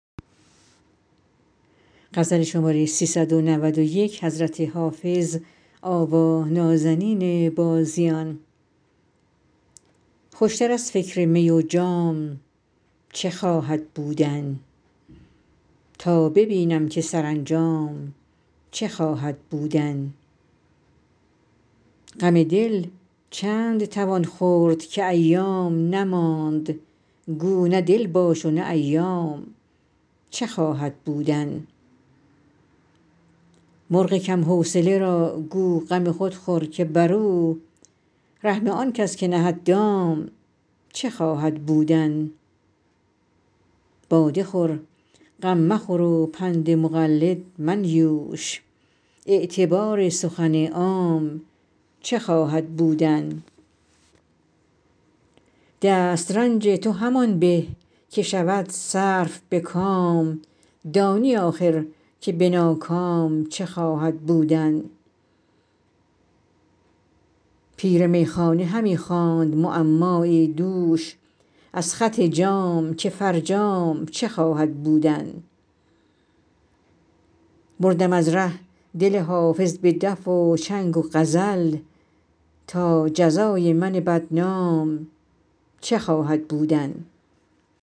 خوش تر از فکر می و جام چه خواهد بودن تا ببینم که سرانجام چه خواهد بودن غم دل چند توان خورد که ایام نماند گو نه دل باش و نه ایام چه خواهد بودن مرغ کم حوصله را گو غم خود خور که بر او رحم آن کس که نهد دام چه خواهد بودن باده خور غم مخور و پند مقلد منیوش اعتبار سخن عام چه خواهد بودن دست رنج تو همان به که شود صرف به کام دانی آخر که به ناکام چه خواهد بودن پیر میخانه همی خواند معمایی دوش از خط جام که فرجام چه خواهد بودن بردم از ره دل حافظ به دف و چنگ و غزل تا جزای من بدنام چه خواهد بودن